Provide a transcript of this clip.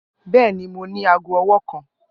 Bẹẹni, Mo ni aago ọwọ kan.